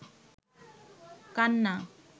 কান্না